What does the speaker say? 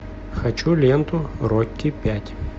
хочу ленту рокки пять